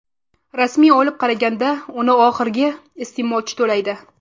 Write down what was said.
Rasmiy olib qaraganda uni oxirgi iste’molchi to‘laydi.